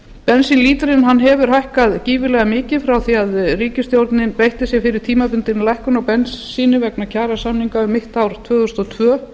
bensínlítrinn hefur hækkað gífurlega mikið frá því að ríkisstjórnin beitti sér fyrir tímabundinni lækkun á bensíni vegna kjarasamninga um mitt ár tvö þúsund og tvö